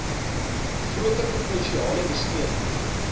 groter provinsiale besteding